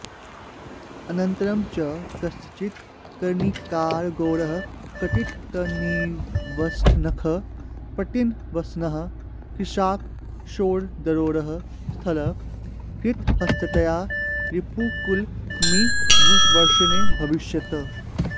अनन्तरं च कश्चिद् कर्णिकारगौरः कटितटनिविष्टनखः पट्टनिवसनः कृशाकृशोदरोरःस्थलः कृतहस्ततया रिपुकुलमिषुवर्षेणाभ्यवर्षत्